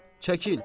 Çəkil.